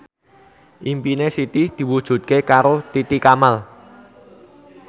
impine Siti diwujudke karo Titi Kamal